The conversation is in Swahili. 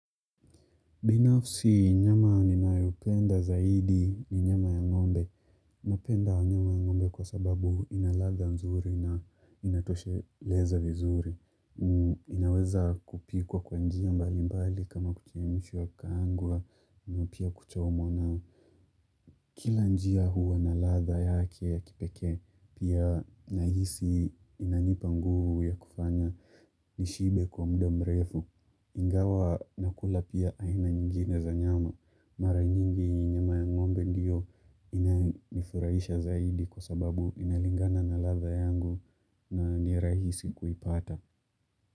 Binafsi nyama ninayopenda zaidi ni nyama ya ngombe. Napenda nyama ya ngombe kwa sababu ina ladha nzuri na inatosheleza vizuri. Inaweza kupikwa kwa njia mbali mbali kama kuchemshwa kukaangwa na pia kuchomwa. Kila njia huwa na ladha yake ya kipekee pia nahisi inanipa nguvu ya kufanya nishibe kwa muda mrefu. Ingawa nakula pia aina nyingine za nyama. Mara nyingi nyama ya ngombe ndiyo inanifurahisha zaidi kwa sababu inalingana na ladha yangu na ni rahisi kuipata.